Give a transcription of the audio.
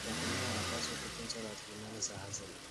Wakulima wanapaswa kutunza rasilimali za asili.